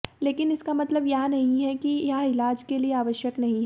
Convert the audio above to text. लेकिन इसका मतलब यह नहीं है कि यह इलाज के लिए आवश्यक नहीं है